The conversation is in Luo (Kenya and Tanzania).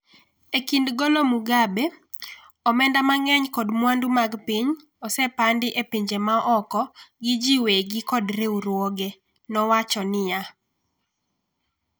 e kind golo Mugabe "omenda mang'eny kod mwandu mag piny osepandi e pinje ma oko gi ji wegi kod riwruoge," nowacho niya.